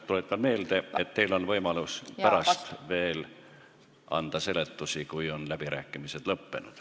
Tuletan meelde, et teil on võimalus anda veel selgitusi pärast, kui läbirääkimised on lõppenud.